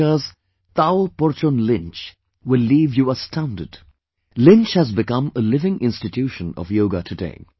America's Tao PorchonLynch will leave you astounded, Lynch has become a living institution of yoga today